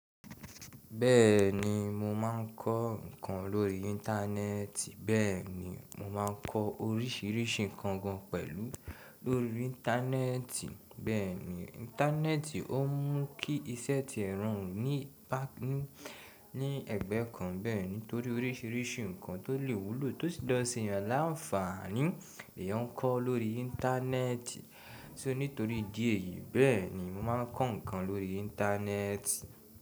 Bẹ́ẹ̀ni mo máa ń kọ́ ǹkan lórí Íńtánẹ́ẹ̀tì. Bẹ́ẹ̀ni mo máa ń kọ́ orísìírísìí ǹkan gan pẹ̀lú lórí Íńtánẹ́ẹ̀tì. Bẹ́ẹ̀ni Íńtánẹ́ẹ̀tì ó mú kí iṣẹ́ ti ẹ̀ rọrun ní ẹ̀gbẹ́ kan. Bẹ́ẹ̀ni torí orísìírísìí ǹkan tó lè wúlò tó sì lè ṣe ènìyàn láǹfààní, ni èèyàn ń kọ́ lórí Íńtánẹ́ẹ̀tì. Sé ó nítorí ìdí èyí bẹ́ẹ̀ni mo máa ń kọ́ ǹkan lórí Íńtánẹ́ẹ̀tì.